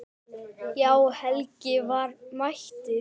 Já, Helgi var mættur.